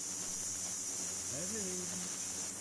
эвелин